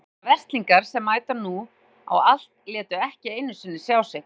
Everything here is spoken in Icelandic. Meira að segja Verzlingar sem mæta nú á allt létu ekki einu sinni sjá sig.